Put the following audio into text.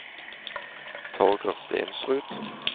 Torger Stensrud